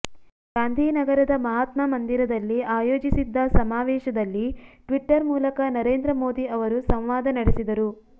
ಗಾಂಧಿನಗರದ ಮಹಾತ್ಮ ಮಂದಿರದಲ್ಲಿ ಆಯೋಜಿಸಿದ್ದ ಸಮಾವೇಶದಲ್ಲಿ ಟ್ವಿಟ್ಟರ್ ಮೂಲಕ ನರೇಂದ್ರ ಮೋದಿ ಅವರು ಸಂವಾದ ನಡೆಸಿದರು